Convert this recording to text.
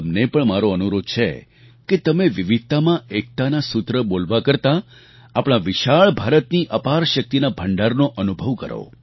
તમને પણ મારો અનુરોધ છે કે તમે 'વિવિધતામાં એકતાના સૂત્ર બોલવા કરતાં આપણા વિશાળ ભારતની અપાર શક્તિના ભંડારનો અનુભવ કરો